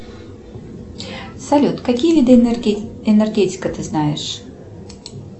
салют какие виды энергетика ты знаешь